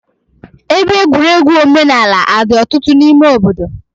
Ebe egwuregwu omenaala adị ọtụtụ n'ime obodo?